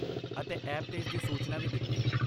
ਅਤੇ ਐਪ 'ਤੇ ਇਸ ਦੀ ਸੂਚਨਾ ਵੀ ਦਿੱਤੀ।